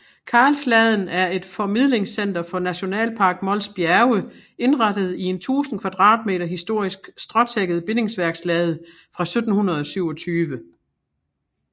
Karlsladen er et formidlingscenter for Nationalpark Mols Bjerge indrettet i en 1000 kvadratmeter historisk stråtækket bindingsværkslade fra 1727